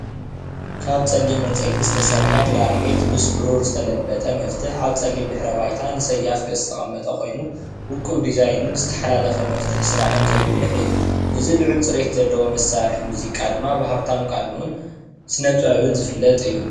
ካብ ጸሊም ዕንፀይቲ ዝተሰርሐ ክላሪኔት ምስ ብሩር ዝተለበጠ መፍትሕ ኣብ ጸሊም ድሕረ-ባይታ ንሰያፍ ገፅ ዝተቐመጠ ኮይኑ ውቁብ ዲዛይንን ዝተሓላለኸ መፍትሒ ስራሕን ዘጉልሕ እዩ ። እዚ ልዑል ጽሬት ዘለዎ መሳርሒ ሙዚቃ ድማ ብሃብታም ቃንኡን ስነጥበብን ዝፍለጥ እዩ።